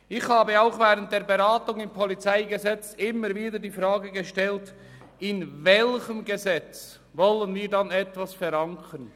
Ich habe auch während der Beratung des PolG immer wieder die Frage gestellt, in welchem Gesetz wir denn etwas verankern wollen?